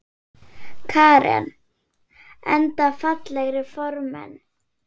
Karen: Enda fallegir formenn?